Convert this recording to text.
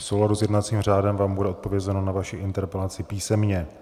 V souladu s jednacím řádem vám bude odpovězeno na vaši interpelaci písemně.